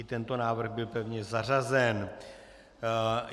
I tento návrh byl pevně zařazen.